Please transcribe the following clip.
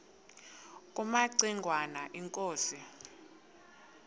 kumaci ngwana inkosi